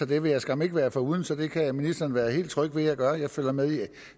det vil jeg skam ikke være foruden så det kan ministeren være helt tryg ved at jeg gør jeg følger med i